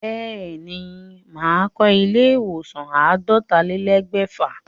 Bẹ́ẹ̀ ní, màá kọ ilé ìwòsàn àádọ́talélẹ̀ẹ́dẹ́gbẹ̀fà.